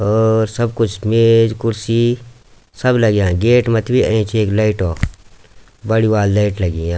और सब कुछ मेज कुर्सी सब लग्यां गेट मथि भी एंच एक लैट बड़ी वाली लैट लगीं या।